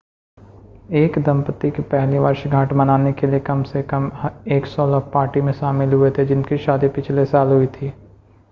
एक दंपति की पहली वर्षगांठ मनाने के लिए कम से कम 100 लोग पार्टी में शामिल हुए थे जिनकी शादी पिछले साल हुई थी